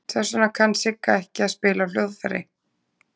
Þess vegna kann Sigga ekki að spila á hljóðfæri.